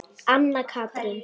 Anna Katrín.